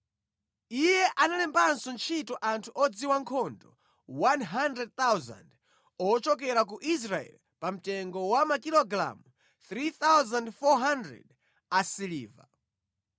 Iye analembanso ntchito anthu odziwa nkhondo 100,000 ochokera ku Israeli pa mtengo wa makilogalamu 3,400 a siliva.